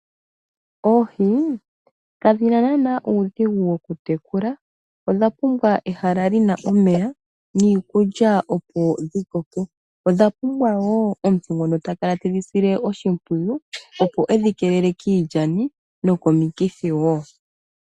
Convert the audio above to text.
Oohi kadhina naana uudhigu wokutekula. Odha pumbwa ehala lina omeya niikulya opo dhi koke. Odha pumbwa woo omuntu ngono takala tedhi sile oshimpwiyu opo edhi keelele kiilyani nokomikithi.